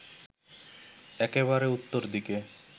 একেবারে উত্তর দিকে